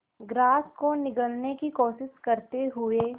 grass को निगलने की कोशिश करते हुए